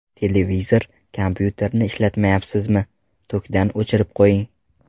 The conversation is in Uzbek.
Televizor, kompyuterni ishlatmayapsizmi, tokdan o‘chirib qo‘ying.